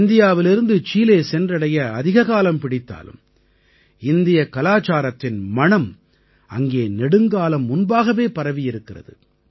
இந்தியாவிலிருந்து சீலே சென்றடைய அதிககாலம் பிடித்தாலும் இந்தியக் கலாச்சாரத்தின் மணம் அங்கே நெடுங்காலம் முன்பாகவே பரவியிருக்கிறது